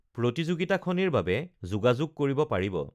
প্ৰতিযোগিতাখনিৰ বাবে যোগাযোগ কৰিব পাৰিব